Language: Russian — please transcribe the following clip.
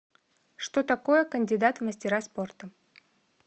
что такое кандидат в мастера спорта